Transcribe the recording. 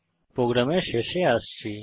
programme শেষে আসছি